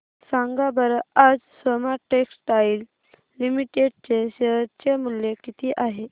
सांगा बरं आज सोमा टेक्सटाइल लिमिटेड चे शेअर चे मूल्य किती आहे